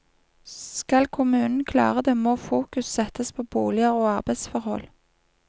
Skal kommunen klare det, må fokus settes på boliger og arbeidsforhold.